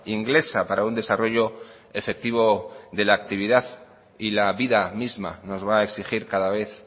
inglesa para un desarrollo efectivo de la actividad y la vida misma nos va a exigir cada vez